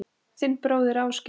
Þinn bróðir, Ásgeir.